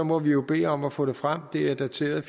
må vi jo bede om at få det frem det er dateret